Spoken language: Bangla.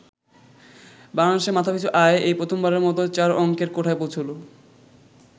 বাংলাদেশে মাথাপিছু আয় এই প্রথমবারের মতো চার অংকের কোঠায় পৌঁছল।